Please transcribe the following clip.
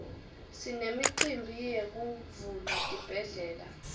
sinemicimbi yekuvula tibhedlela